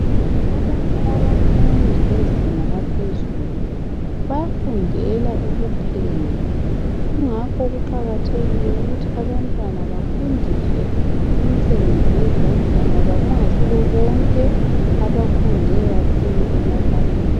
Abanye abafundi bezinga laphezulu bayafundela ukupheka kungakho kuqakathekile ukuthi abantwana bafundiswe imisebenzi yezandla ngoba kungayisibo bonke abafunde kakhulu emabaleni.